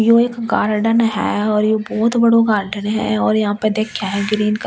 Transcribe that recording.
यो एक गार्डन है और यो बहुत बड़ो गार्डन है और यहाँ पे दिक्खे है ग्रीन कलर ।